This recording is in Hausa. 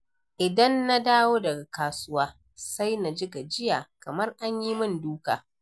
Idan na dawo daga kasuwa, sai na ji gajiya, kamar an yi min duka.